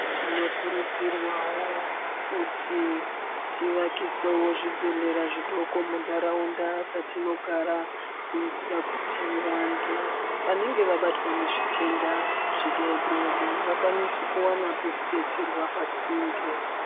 Tinokurudzirwawo kuti tivakisewo zvibhedhlera zvidoko muntaraunda dzatinogara kuitira kuti vantu vanenge vabatwa nezvitenda zvidoodori vakwanise kuwana pekudetserwa pasinde.